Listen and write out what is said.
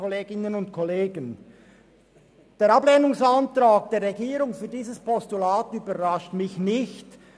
Der Ablehnungsantrag der Regierung zu diesem Postulat überrascht mich nicht.